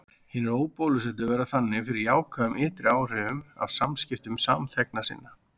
Hinir óbólusettu verða þannig fyrir jákvæðum ytri áhrifum af samskiptum samþegna sinna.